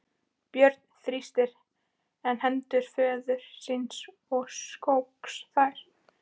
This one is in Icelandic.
Björn þrýsti enn hendur föður síns og skók þær.